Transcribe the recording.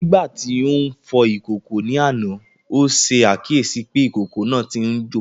Nígbà tí ó ń fọ ìkòkò ní àná, ó ṣe àkíyèsí pé ìkòkò náà tí ń jò